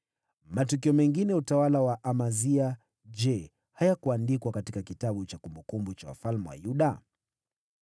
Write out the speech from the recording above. Matukio mengine ya utawala wa Amazia, je, hayakuandikwa katika kitabu cha kumbukumbu za wafalme wa Yuda?